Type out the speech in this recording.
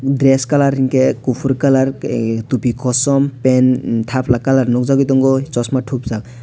dress colour hingkhe kuphur colour ah thupi kosom pen thapla colour nukjakgui tongo chosma thupjak.